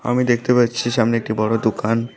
আমি দেখতে পাচ্ছি সামনে একটি বড়ো দোকান।